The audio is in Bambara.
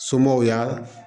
Somɔgɔw y'a